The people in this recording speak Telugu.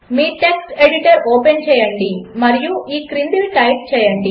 మీ టెక్స్ట్ ఎడిటర్ ఓపెన్ చేయండి మరియు ఈ క్రిందివి టైప్ చేయండి